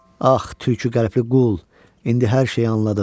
Ax, tülkü qəlbli qul, indi hər şeyi anladım.